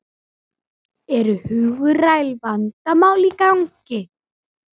Eru hugræn vandamál í gangi?